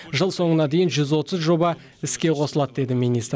жыл соңына дейін жүз отыз жоба іске қосылады деді министр